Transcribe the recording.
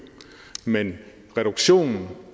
men reduktion